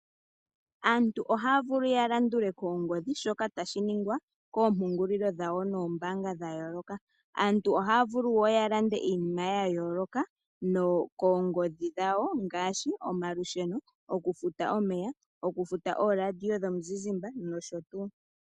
Aantu ohaya vulu ya landule koongodhi shoka tashi ningwa koompungulilo dhawo noombaanga dhayooloka. Aantu ohaya vulu woo ya lande iinima yayooloka koongodhi dhawo ngaashi omalusheno, oku futa omeya, oku futa ooradio dhomuzizimba nosho tuu